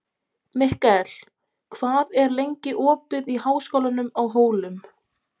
Mikkel, hvað er lengi opið í Háskólanum á Hólum?